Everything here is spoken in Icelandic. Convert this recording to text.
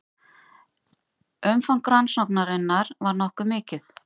Umfang rannsóknarinnar var nokkuð mikið